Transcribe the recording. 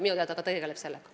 Minu teada ta tegeleb sellega.